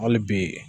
Hali bi